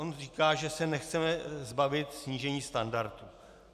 On říká, že se nechceme zbavit snížení standardů.